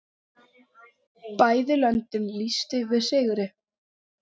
Bæði löndin lýstu yfir sigri.